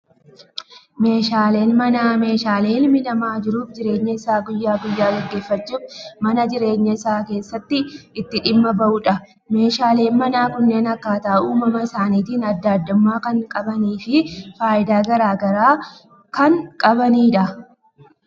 Meeshaaleen manaa, meeshaalee ilmi namaa jiruu fi jireenya isaa guyyaa guyyaa gaggeeffachuuf mana jireenyaa isaa keessatti itti dhimma bahudha. Meeshaaleen manaa kunneen akkaataa uumama isaaniitiin addaa addummaa kan qabanii fi fayidaa garaagaraa kan qabanidha.